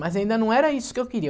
Mas ainda não era isso que eu queria.